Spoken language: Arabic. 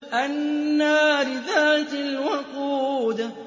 النَّارِ ذَاتِ الْوَقُودِ